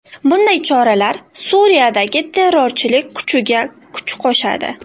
Bunday choralar Suriyadagi terrorchilar kuchiga kuch qo‘shadi.